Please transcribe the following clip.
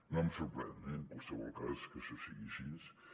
no em sorprèn eh en qualsevol cas que això sigui així